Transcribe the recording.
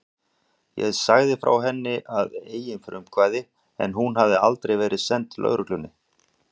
Ég sagði frá henni að eigin frumkvæði en hún hafði aldrei verið send lögreglunni.